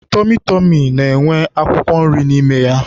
Tọmị tọmị na-enwe akwụkwọ nri n'ime ya.